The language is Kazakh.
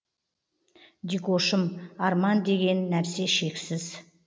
дикошым арман деген нәрсе шексіз